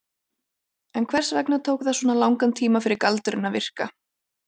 En hvers vegna tók það svona langan tíma fyrir galdurinn að virka?